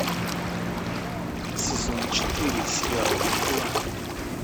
сезон четыре сериал мгла